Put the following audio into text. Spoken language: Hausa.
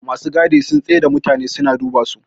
masu gadi sum tsai da mutane suna duba su